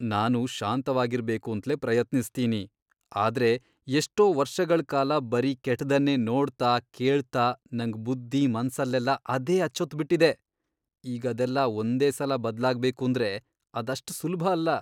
ನಾನು ಶಾಂತವಾಗಿರ್ಬೇಕೂಂತ್ಲೇ ಪ್ರಯತ್ನಿಸ್ತೀನಿ, ಆದ್ರೆ ಎಷ್ಟೋ ವರ್ಷಗಳ್ ಕಾಲ ಬರೀ ಕೆಟ್ದನ್ನೇ ನೋಡ್ತಾ, ಕೇಳ್ತಾ ನಂಗ್ ಬುದ್ಧಿ, ಮನ್ಸಲ್ಲೆಲ್ಲ ಅದೇ ಅಚ್ಚೊತ್ಬಿಟಿದೆ, ಈಗದೆಲ್ಲ ಒಂದೇ ಸಲ ಬದ್ಲಾಗ್ಬೇಕೂಂದ್ರೆ ಅದಷ್ಟ್ ಸುಲ್ಭ ಅಲ್ಲ.